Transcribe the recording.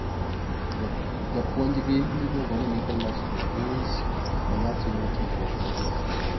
Japuonjgi miluongo ni Nicolas Dupuis, ema timo tiegruok ne jo Fleury.